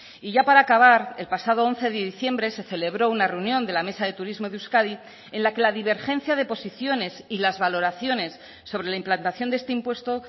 y ya para acabar el pasado once de diciembre se celebró una reunión de la mesa de turismo de euskadi en la que la divergencia de posiciones y las valoraciones sobre la implantación de este impuesto